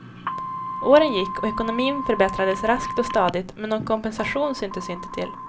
Åren gick och ekonomin förbättrades raskt och stadigt, men någon kompensation syntes inte till.